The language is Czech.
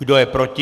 Kdo je proti?